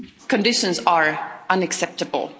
Conditions are unacceptable.